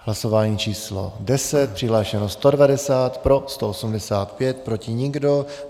Hlasování číslo 10. Přihlášeno 190, pro 185, proti nikdo.